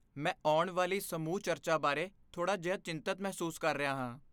ਮੈਂ ਆਉਣ ਵਾਲੀ ਸਮੂਹ ਚਰਚਾ ਬਾਰੇ ਥੋੜਾ ਜਿਹਾ ਚਿੰਤਿਤ ਮਹਿਸੂਸ ਕਰ ਰਿਹਾ ਹਾਂ।